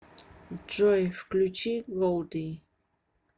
джой включи голди